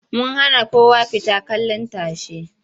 Mun hana kowa fita kallin tashe.